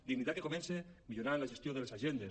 dignitat que comença millorant la gestió de les agendes